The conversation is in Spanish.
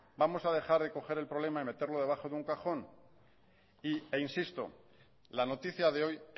vamos a dejar de coger el problema y meterlo debajo de un cajón e insisto la noticia de hoy